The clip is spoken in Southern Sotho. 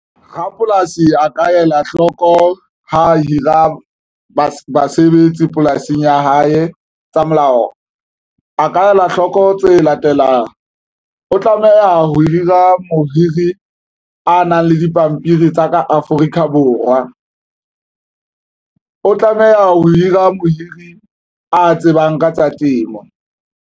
Rapolasi a ka ela hloko ha hira basebetsi polasing ya hae tsa molao a ka ela hloko tse latelang. O tlameha a ho hira mohiri a nang le dipampiri tsa ka Afrika Borwa o tlameha ho hira mohiri a tsebang ka tsa temo.